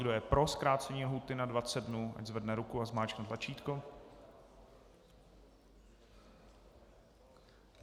Kdo je pro zkrácení lhůty na 20 dnů, ať zvedne ruku a zmáčkne tlačítko.